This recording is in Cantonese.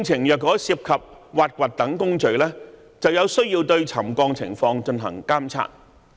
如果工程涉及挖掘等工序，便必須對沉降情況進行監察。